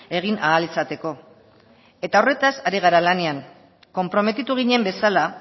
egin ahal izateko eta horretaz ari gara lanean konprometitu ginen bezala